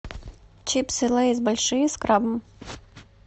чипсы лейс большие с крабом